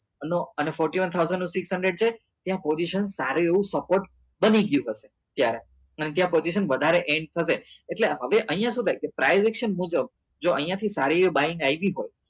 નું અને fourty one thousand ને six hundred છે ત્યાં position સારું એવું support બની ગયું હશે ત્યારે અને ત્યાં position વધારે end થશે એટલે હવે અહિયાં સુ થાય કે privation મુજબ જો અહિયાં થી સારી એવી buying